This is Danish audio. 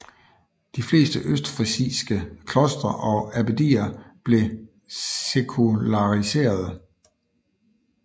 De fleste østfrisiske klostre og abbedier blev sekulariserede